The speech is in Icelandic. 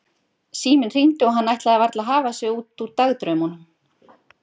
Síminn hringdi og hann ætlaði varla að hafa sig út úr dagdraumunum.